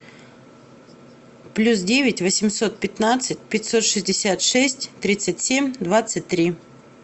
плюс девять восемьсот пятнадцать пятьсот шестьдесят шесть тридцать семь двадцать три